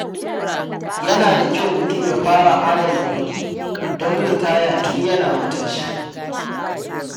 Yana da kyau mutum ya fara adana kuɗi don ritaya tun yana matashi.